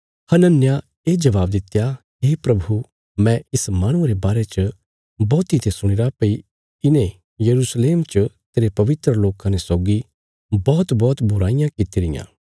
हनन्याह ये जवाब दित्या हे प्रभु मैं इस माहणुये रे बारे च बौहतीं ते सुणीरा भई इने यरूशलेम च तेरे पवित्र लोकां ने सौगी बौहतबौहत बुराईयां किति रियां